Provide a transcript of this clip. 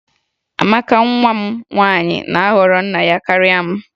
Amaka nwa m nwaanyị na-ahọrọ nna ya karịa m